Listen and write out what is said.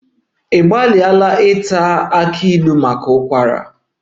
Ị gbalịrị iwere kola nut maka ụkwara?